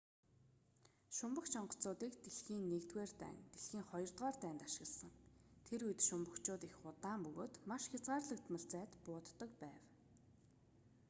шумбагч онгоцуудыг дэлхийн i дайн дэлхийн ii дайнд ашигласан тэр үед шумбагчууд их удаан бөгөөд маш хязгаарлагдмал зайд бууддаг байв